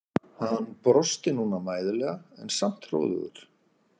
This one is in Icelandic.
Hann brosti núna mæðulega en samt hróðugur.